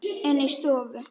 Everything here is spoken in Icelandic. Inni í stofu.